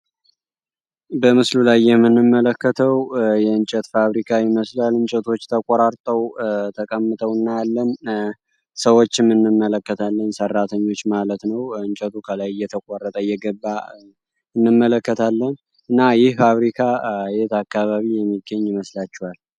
በምስሉ ላይ የምንመለከተው የእንጨት ፋብሪካዊ መስሉ ያል እንጨቶች ተቋራርተው ተካምተው እና ያለም ሰዎች ምንመለከታለኝ ሰራተኞች ማለት ነው። እንጨቱ ከላይ የተቋረጠ የገባ እንመለከታለን እና ይህ ፋብሪካ አየት አካባቢ የሚገኝ ይመስላቸዋል?